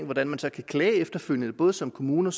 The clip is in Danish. hvordan man så kan klage efterfølgende både som kommune